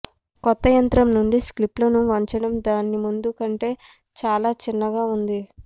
కొత్త యంత్రం నుండి క్లిప్లను వంచటం దాని ముందు కంటే చాలా చిన్నగా ఉంది